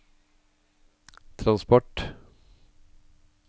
transport